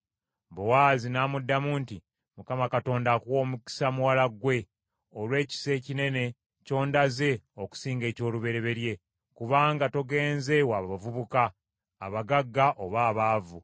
Bowaazi n’amuddamu nti, “ Mukama Katonda akuwe omukisa muwala ggwe, olw’ekisa ekinene kyondaze okusinga eky’olubereberye, kubanga togenze wa bavubuka, abagagga oba abaavu.